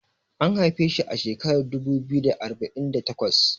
an haife shi a shekarar dubu biyu da arba'in da takwas